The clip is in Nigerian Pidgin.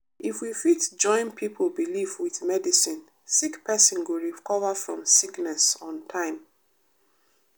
if we fit join pipo belief with medicine sick pesin go recover from sickness on time.